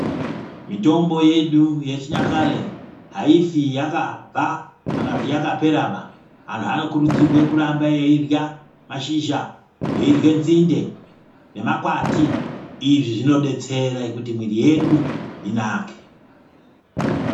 Mitombo yedu yechinyakare haifi yakabva, kana kuti yakaperaba. Vanhu vanokurudzirwe kuramba eyidla mashizha, eyidle nsinde nemakwati. Izvi zvinodetsera kuti miyiri yedu inake.